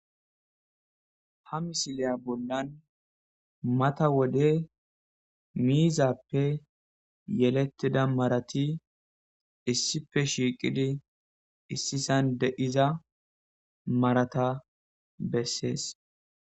Ha misiliya bollan mata wode miizappe yelettida marati issipe shiiqidi issisan de iza marata bessees.